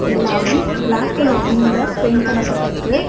எல்லாமே black colour தீம்ல paint பண்ண பட்ருக்கு.